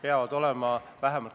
Annely Akkermann, palun!